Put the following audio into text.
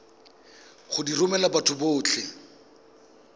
go di romela batho botlhe